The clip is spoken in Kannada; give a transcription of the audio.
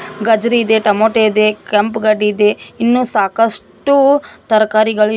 ಗಜ್ರಿ ಇದೆ ಟೊಮೊಟೊ ಇದೆ ಕೆಂಪು ಗಡ್ಡೆ ಇದೆ ಇನ್ನು ಸಾಕಷ್ಟು ತರಕಾರಿಗಳು ಇವೆ.